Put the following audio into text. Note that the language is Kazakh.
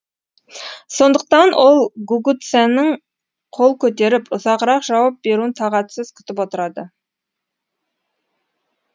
сондықтан ол гугуцэнің қол көтеріп ұзағырақ жауап беруін тағатсыз күтіп отырады